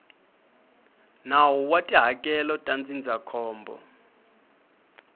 nawu wa tihakelo ta ndzindzakhombo